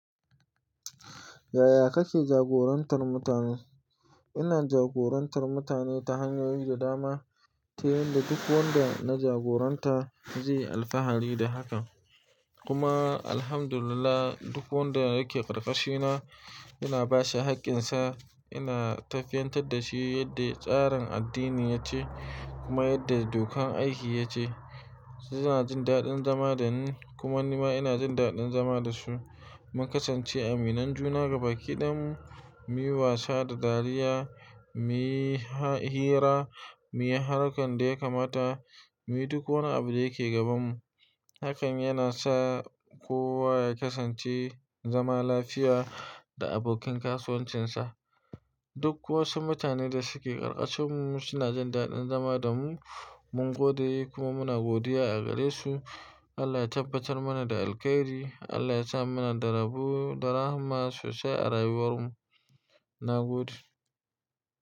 Yaya kake jagorantar mutane? Ina jagorantar mutane ta hanyoyi da dama, ta yanda duk wanda na jagoranta zai yi alfahari da haka. Kuma Alhamdulillah, duk wanda yake ƙarƙashina ina ba shi haƙƙinsa. Ina tafiyar da shi yadda tsarin addini ya ce kuma yadda dokar aiki ya ce. Su suna jin daɗin zama dani kuma ni ma ina jin daɗin zama da su. Mun kasance aminan juna gaba ɗaya mu, muyi wasa da dariya, muyi hira, muyi harkar da ya kamata, muyi duk wani abu da yake gabanmu. Hakan yana sa kowa ya kasance zama lafiya da abokin kasuwancinsa. Duk wasu mutanen da suke ƙarƙashinmu suna jin daɗin zama da mu. Mun gode kuma muna godiya a gare su. Allah ya tabbatar mana da alkhairi. Allah ya sa mu na da rabo da rahama sosai a rayuwar mu. Na gode.